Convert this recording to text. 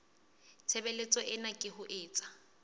tshebeletso ena ke ho etsa